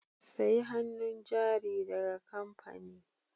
Sayi hannun jari daga kamfani